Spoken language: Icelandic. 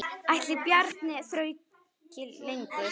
Ætli Bjarni þrauki lengur?